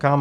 Kam?